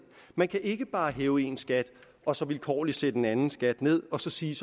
man kan ikke bare hæve én skat og så vilkårligt sætte en anden skat ned og så sige